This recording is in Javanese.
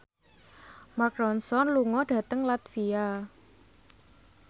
Mark Ronson lunga dhateng latvia